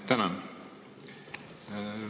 Tänan!